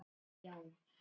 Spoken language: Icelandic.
Þá yrðum við ekki við.